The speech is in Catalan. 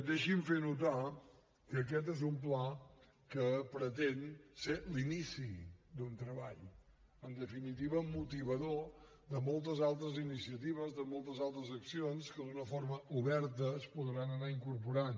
deixi’m fer notar que aquest és un pla que pretén ser l’inici d’un treball en definitiva motivador de moltes altres iniciatives de moltes altres accions que d’una forma oberta es podran anar incorporant